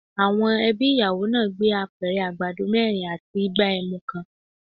Àwọn ẹbí ìyàwó náà gba Apẹ̀rẹ̀ àgbàdo mẹ́rin àti igbá ẹmu kan.